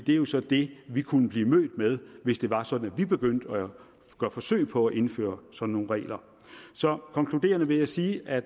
det er jo så det vi kunne blive mødt med hvis det var sådan at vi begyndte at gøre forsøg på at indføre sådan nogle regler så konkluderende vil jeg sige at